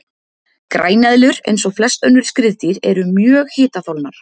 Græneðlur, eins og flest önnur skriðdýr, eru mjög hitaþolnar.